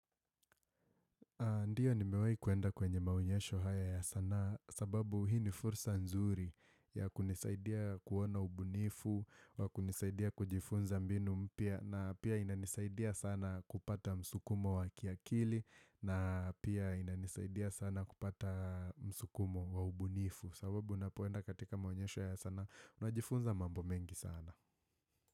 Ndiyo nimewahi kuenda kwenye maonyesho haya ya sanaa sababu hii ni fursa nzuri ya kunisaidia kuona ubunifu wa kunisaidia kujifunza mbinu mpya na pia inanisaidia sana kupata msukumo wa kiakili na pia inanisaidia sana kupata msukumo wa ubunifu sababu unapoenda katika maonyesho ya sanaa unajifunza mambo mengi sana.